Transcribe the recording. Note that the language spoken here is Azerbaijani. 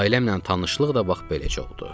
Ailəmlə tanışlıq da bax beləcə oldu.